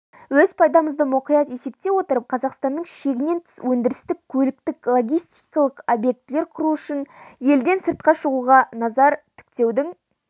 өз пайдамызды мұқият есептей отырып қазақстанның шегінен тыс өндірістік көліктік-логистикалық объектілер құру үшін елден сыртқа шығуға назар тіктеудің